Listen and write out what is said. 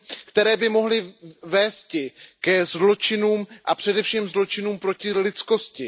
které by mohly vést ke zločinům, a především zločinům proti lidskosti.